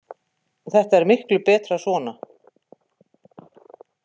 Þetta er miklu betra svona.